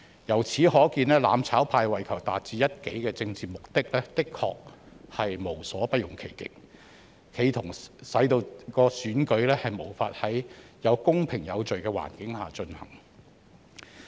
由此可見，"攬炒派"為求達致一己政治目的，的確無所不用其極，企圖使選舉無法在公平有序的環境下進行。